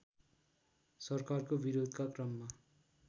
सरकारको विरोधका क्रममा